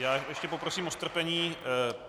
Já ještě poprosím o strpení.